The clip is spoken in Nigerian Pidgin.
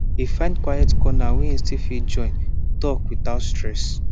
e find quiet corner wey e fit still join talk without stress